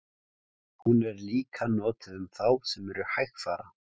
hún er líka notuð um þá sem eru hægfara